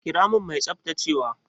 Kira min mai tsaftacewa!